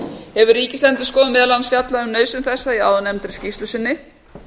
hefur ríkisendurskoðun meðal annars fjallað um nauðsyn þess í áðurnefndri skýrslu sinni